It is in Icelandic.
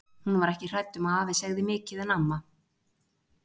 Hún var ekki hrædd um að afi segði mikið en amma.